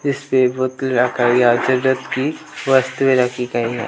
वस्तुएं रखी गई है।